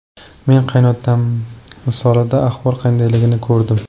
Men qaynotam misolida ahvol qandayligini ko‘rdim.